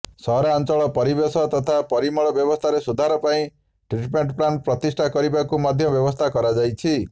ସହରାଞ୍ଚଳର ପରିବେଶ ତଥା ପରିମଳ ବ୍ୟବସ୍ଥାରେ ସୁଧାର ପାଇଁ ଟ୍ରିଟମେଣ୍ଟ ପ୍ଲାଣ୍ଟ ପ୍ରତିଷ୍ଠା କରିବାକୁ ମଧ୍ୟ ବ୍ୟବସ୍ଥା କରାଯାଇଛି